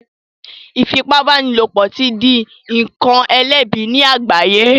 Ifipabanilopo ti dì nkán elẹbi ní àgbáye